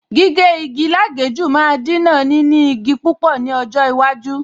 Gígé igi lágèéjú máa Dínà níní igi púpọ̀ ní ọjọ́ iwájú